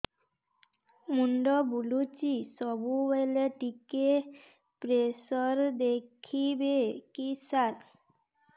ମୁଣ୍ଡ ବୁଲୁଚି ସବୁବେଳେ ଟିକେ ପ୍ରେସର ଦେଖିବେ କି ସାର